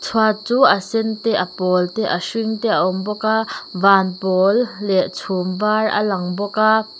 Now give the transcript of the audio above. phua chu a sen te a pâwl te a hring te a awm bawk a vân pâwl leh chhûm vâr a lang bawk a.